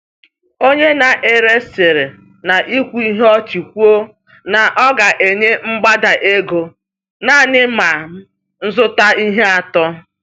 Onye na-ere siri n’ikwu ihe ọchị kwuo na ọ ga-enye mgbada ego naanị ma m zụta ihe atọ.